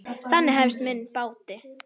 Þannig hefst minn bati.